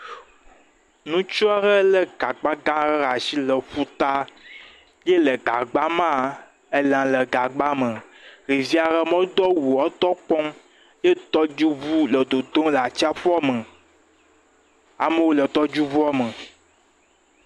Ŋutsu aɖe le gagba gã aɖe ɖe asi le ƒuta ye le gagba mea elã le gagba me. Ɖevi aɖe medo awu o etɔ kpɔm ye tɔdziŋu le totom le atsƒua me. Amewo le tɔdziŋua me.